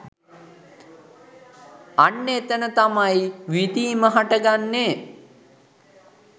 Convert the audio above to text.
අන්න එතන තමයි විඳීම හටගන්නේ.